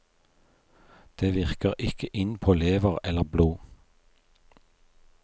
Det virker ikke inn på lever eller blod.